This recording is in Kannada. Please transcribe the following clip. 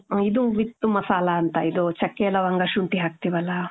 ಇದು with ಮಸಾಲಾ ಅಂತ. ಇದು ಚೆಕ್ಕೆ, ಲವಂಗ, ಶುಂಟಿ, ಹಾಕ್ತಿವಿ ಅಲ್ಲ .